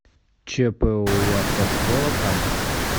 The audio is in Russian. чпоу автошкола кама